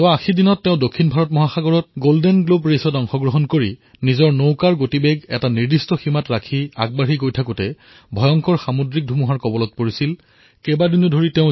বিগত ৮০ দিনত তেওঁ দক্ষিণ ভাৰত মহাসাগৰত গোল্ডেন গ্লোব ৰেচ অংশগ্ৰহণ কৰাৰ বাবে সমুদ্ৰত নিজৰ গতিৰে আগবাঢ়ি আছিল কিন্তু ভয়ানক সামুদ্ৰিক ধুমুহাই তেওঁৰ সন্মুখত বিপত্তিৰ সৃষ্টি কৰিছিল